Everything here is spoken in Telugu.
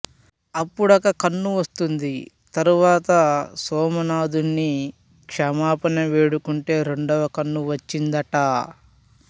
అప్పుడొక కన్ను వస్తుంది తరువాత సోమనాథున్ని క్షమాపణ వేడుకుంటే రెండవ కన్ను వచ్చిందట